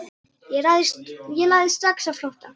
Ég lagði strax á flótta.